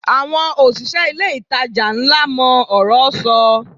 Àwọn òṣìṣẹ́ ilé-ìtajà ńlá mọ ọ̀rọ́ sọ